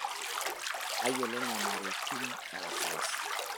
Tayiolo nyamaliritin e wasiwasi.